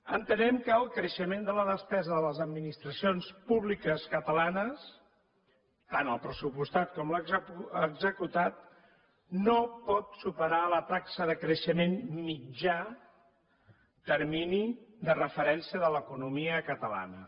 entenem que el creixement de la despesa de les administracions públiques catalanes tant el pressupostat com l’executat no pot superar la taxa de creixement mitjà termini de referència de l’economia catalana